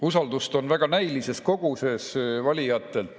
Usaldust on valijatelt väga näilises koguses.